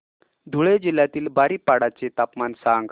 धुळे जिल्ह्यातील बारीपाडा चे तापमान सांग